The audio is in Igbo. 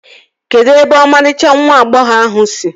Kedụ ebe ọmarịcha nwa agbọghọ ahụ si?